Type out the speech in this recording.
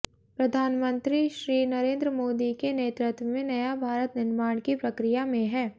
प्रधानमंत्री श्री नरेन्द्र मोदी के नेतृत्व में नया भारत निर्माण की प्रक्रिया में है